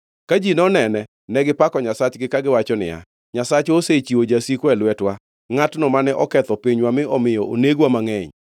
Ka ji nonene, negipako nyasachgi, kagiwacho niya, “Nyasachwa osechiwo jasikwa e lwetwa, ngʼatno mane oketho pinywa mi omiyo onegwa mangʼeny.”